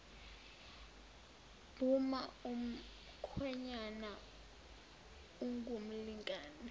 buma umkhwenyana engumlingani